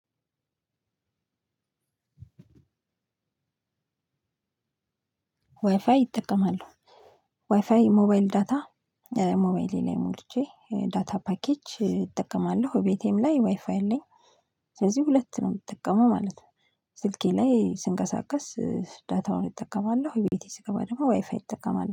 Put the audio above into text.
ዋይፋይ እጠቀማለው። ዋይፋይ ሞባይል ዳታ ሞባይሌ ላይ ሞልቼ ዳታ ፓኬጅ እጠቀማለሁ እቤቴም ላይ ዋይፋይ አለኝ። ስለዚህ ሁለት ነው የምጠቀመው ማለት ነው። ስልኬ ላይ ስንቀሳቀስ ዳታውን እጠቀማለሁ ቤቴ ስገባ ደግሞ ዋይፋይ እጠቀማለሁ